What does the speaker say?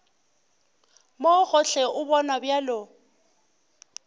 mo gohle o bonwa bjalo